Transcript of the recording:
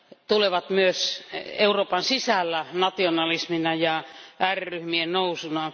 tulevat myös Euroopan sisältä nationalismina ja ääriryhmien nousuna.